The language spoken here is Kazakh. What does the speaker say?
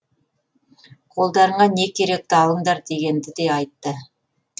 қолдарыңа не керекті алыңдар дегенді де айтты